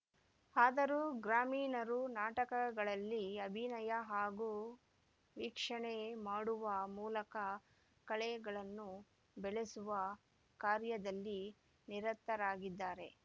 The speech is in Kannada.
ಆದರೂ ಗ್ರಾಮೀಣರು ನಾಟಕಗಳಲ್ಲಿ ಅಭಿನಯ ಹಾಗೂ ವೀಕ್ಷಣೆ ಮಾಡುವ ಮೂಲಕ ಕಲೆಗಳನ್ನು ಬೆಳಸುವ ಕಾರ್ಯದಲ್ಲಿ ನಿರತರಾಗಿದ್ದಾರೆ